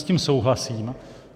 S tím souhlasím.